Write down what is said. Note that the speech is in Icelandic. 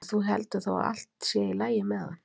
Og þú heldur þá að allt sé í lagi með hann?